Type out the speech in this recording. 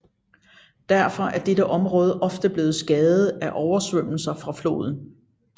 Derfor er dette område ofte blevet skadet af oversvømmelser fra floden